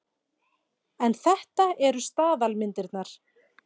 En þetta eru staðalmyndirnar.